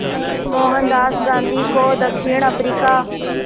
मोहनदास गांधी को दक्षिण अफ्रीका